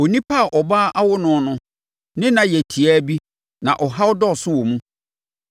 “Onipa a ɔbaa awo no no ne nna yɛ tiaa bi na ɔhaw dɔɔso wɔ mu.